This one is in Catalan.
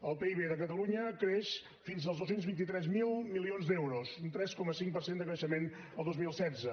el pib de catalunya creix fins als dos cents i vint tres mil milions d’euros un tres coma cinc per cent de creixement el dos mil setze